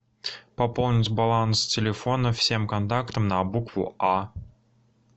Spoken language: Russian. пополнить баланс телефона всем контактам на букву а